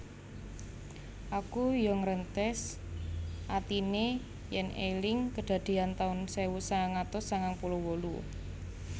Aku yo nggrentes atine yen eling kedadean taun sewu sangang atus sangang puluh wolu